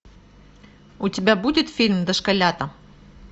у тебя будет фильм дошколята